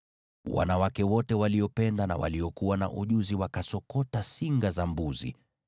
Wanawake wote waliopenda na waliokuwa na ujuzi wakasokota singa za mbuzi.